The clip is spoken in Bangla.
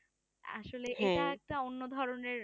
আসলে এটা একটা অন্য ধরণের